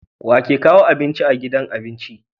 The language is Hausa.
wake kawo abinci a gidan abinci